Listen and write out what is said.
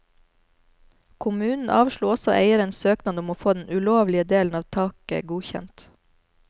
Kommunen avslo også eierens søknad om å få den ulovlige delen av taket godkjent.